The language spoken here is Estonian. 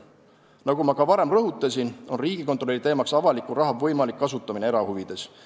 Nagu ma juba rõhutasin, on Riigikontrolli teema avaliku raha võimalik kasutamine erahuvides.